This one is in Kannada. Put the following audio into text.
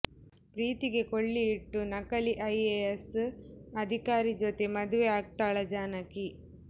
ಪ್ರೀತಿಗೆ ಕೊಳ್ಳಿ ಇಟ್ಟು ನಕಲಿ ಐಎಎಸ್ ಅಧಿಕಾರಿ ಜೊತೆ ಮದುವೆ ಆಗ್ತಾಳಾ ಜಾನಕಿ